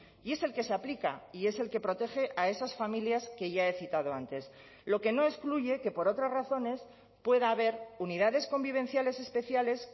y es el que se aplica y es el que protege a esas familias que ya he citado antes lo que no excluye que por otras razones pueda haber unidades convivenciales especiales